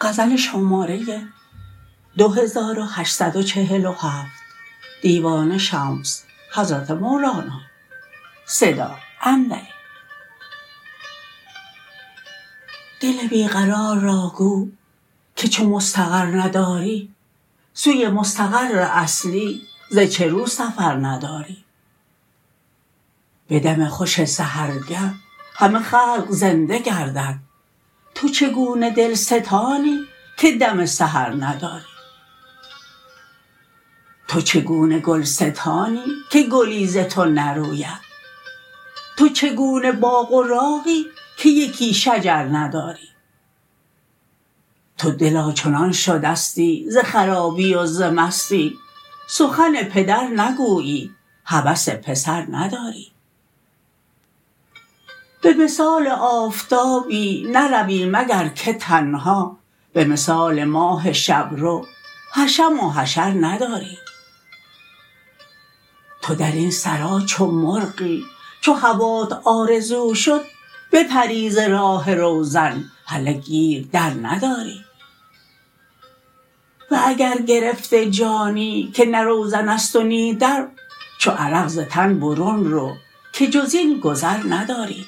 دل بی قرار را گو که چو مستقر نداری سوی مستقر اصلی ز چه رو سفر نداری به دم خوش سحرگه همه خلق زنده گردد تو چگونه دلستانی که دم سحر نداری تو چگونه گلستانی که گلی ز تو نروید تو چگونه باغ و راغی که یکی شجر نداری تو دلا چنان شدستی ز خرابی و ز مستی سخن پدر نگویی هوس پسر نداری به مثال آفتابی نروی مگر که تنها به مثال ماه شب رو حشم و حشر نداری تو در این سرا چو مرغی چو هوات آرزو شد بپری ز راه روزن هله گیر در نداری و اگر گرفته جانی که نه روزن است و نی در چو عرق ز تن برون رو که جز این گذر نداری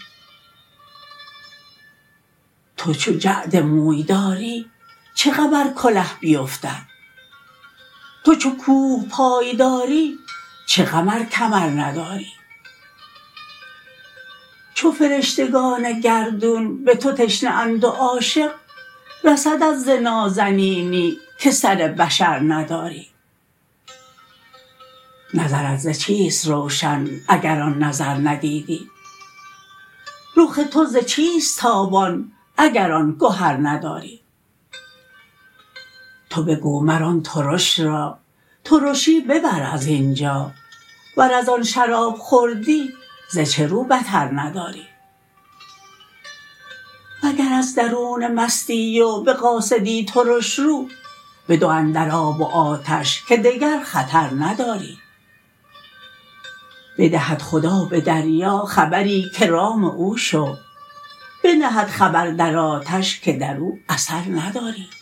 تو چو جعد موی داری چه غم ار کله بیفتد تو چو کوه پای داری چه غم ار کمر نداری چو فرشتگان گردون به تو تشنه اند و عاشق رسدت ز نازنینی که سر بشر نداری نظرت ز چیست روشن اگر آن نظر ندیدی رخ تو ز چیست تابان اگر آن گهر نداری تو بگو مر آن ترش را ترشی ببر از این جا ور از آن شراب خوردی ز چه رو بطر نداری وگر از درونه مستی و به قاصدی ترش رو بدر اندر آب و آتش که دگر خطر نداری بدهد خدا به دریا خبری که رام او شو بنهد خبر در آتش که در او اثر نداری